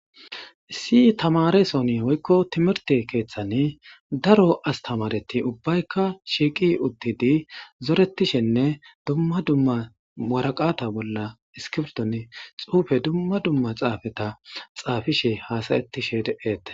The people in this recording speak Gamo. issi tamaresooni woykko timirte keeththani daro astamareti ubbaykka shiiqi uttidi zoretishenne dumma dumma waraqata bolla iskibrton xuufe dumma dumma xaafeta xaafishe haasayettishe de'etees